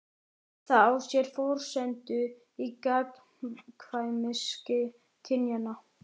Það á sér forsendu í gagnkvæmni kynjanna.